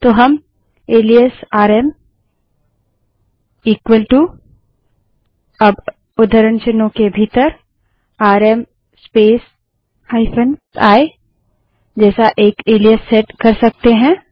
तो हम alias rm equal to अब उद्धरण चिन्हों के भीतर आरएम स्पेस -i जैसा एक एलाइस सेट कर सकते हैं